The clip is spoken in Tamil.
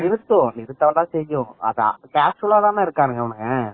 நிருத்தும் நிருத்தாதா செய்யும் casual தானே இருக்கானுங்க இவங்க